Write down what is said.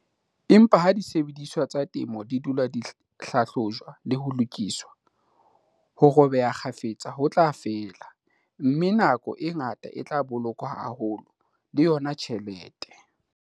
Empa ha disebediswa tsa temo di dula di hlahlojwa le ho lokiswa, ho robeha kgafetsa ho tla fela, mme nako e ngata e tla bolokwa haholo, le yona tjhelete.